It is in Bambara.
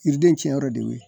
Yiriden tiɲɛyɔrɔ de o ye.